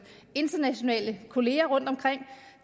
internationale kollegaer rundtomkring